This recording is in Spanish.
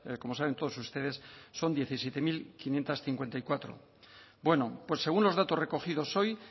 como saben todos ustedes son diecisiete mil quinientos cincuenta y cuatro bueno pues según los datos recogidos hoy